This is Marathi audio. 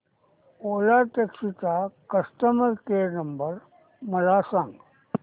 ओला टॅक्सी चा कस्टमर केअर नंबर मला सांग